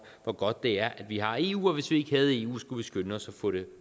hvor godt det er at vi har eu og at hvis ikke vi havde eu skulle vi skynde os at få det